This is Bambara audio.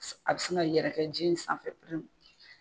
A bɛ se ka yɛrɛ cɛncɛn sanfɛ.